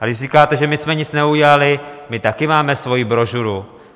A když říkáte, že my jsme nic neudělali - my taky máme svoji brožuru.